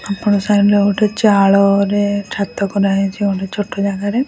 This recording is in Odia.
ଏପଟ ସାଇଡ ରେ ଗୋଟେ ଚାଳରେ ଛାତ କରାଯାଇଛି ଗୋଟେ ଛୋଟ ଜାଗାରେ ।